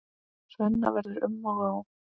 Svenna verður um og ó.